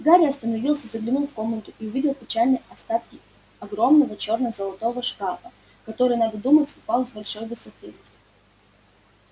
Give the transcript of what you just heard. гарри остановился заглянул в комнату и увидел печальные остатки огромного черно-золотого шкафа который надо думать упал с большой высоты